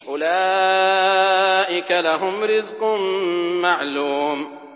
أُولَٰئِكَ لَهُمْ رِزْقٌ مَّعْلُومٌ